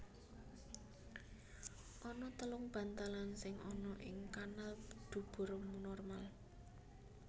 Ana telung bantalan sing ana ing kanal dubur normal